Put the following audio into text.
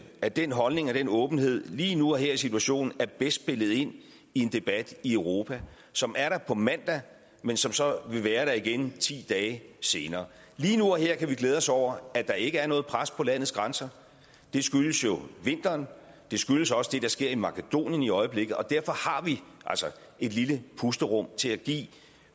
at den holdning og den åbenhed lige nu og her i situationen er bedst spillet ind i en debat i europa som er der på mandag men som så vil være der igen ti dage senere lige nu og her kan vi glæde os over at der ikke er noget pres på landets grænser det skyldes jo vinteren og det skyldes også det der sker i makedonien i øjeblikket og derfor har vi altså et lille pusterum til at give